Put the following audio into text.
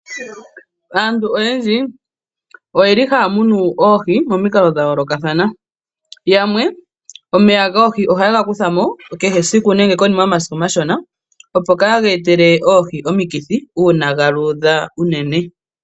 Aantu oyendji oye li haya munu oohi monikalo dha yoolokathana yamwe omeya goohi oha ye ga kutha mo kehe esiku nenge konima yomasiku omashona opo kaga etele oohi omikithi uuna ga luudha unene.